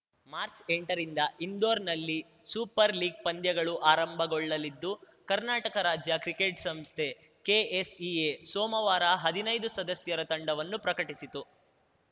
ಮಾರ್ಚ್ಎಂಟರಿಂದ ಇಂದೋರ್ನಲ್ಲಿ super league ಪಂದ್ಯಗಳು ಆರಂಭಗೊಳ್ಳಲಿದ್ದು ಕರ್ನಾಟಕ ರಾಜ್ಯ ಕ್ರಿಕೆಟ್‌ ಸಂಸ್ಥೆ ಕೆಎಸ್‌ಇಎ ಸೋಮವಾರ ಹದಿನೈದು ಸದಸ್ಯರ ತಂಡವನ್ನು ಪ್ರಕಟಿಸಿತು